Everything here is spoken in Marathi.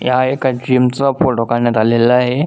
ह्या एका जीम चा फोटो काढण्यात आलेला आहे.